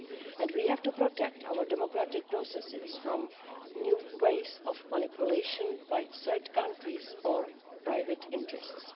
And we have to protect our democratic processes from new ways of manipulation by third countries or private interests.